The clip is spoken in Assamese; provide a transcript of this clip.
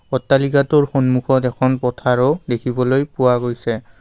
অট্টালিকাটোৰ সন্মুখত এখন পথাৰো দেখিবলৈ পোৱা গৈছে।